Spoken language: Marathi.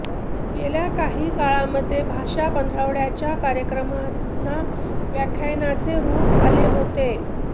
गेल्या काही काळामध्ये भाषा पंधरवड्याच्या कार्यक्रमांना व्याख्यानांचे रूप आले होते